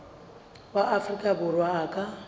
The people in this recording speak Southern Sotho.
wa afrika borwa a ka